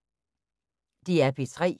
DR P3